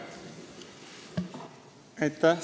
Aitäh!